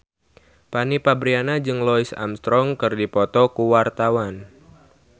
Fanny Fabriana jeung Louis Armstrong keur dipoto ku wartawan